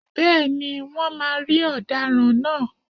Bẹ́ẹ̀ni, Wọ́n máa rí Ọ̀daràn náà.